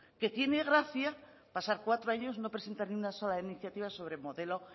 que tiene gracia pasar cuatro años y no presentar ni una sola iniciativa sobre modelo